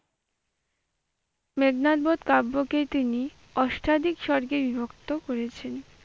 মেঘনাদ বধ কাব্যকে তিনি অষ্টাধিক সর্গে বিভক্ত করেছেন।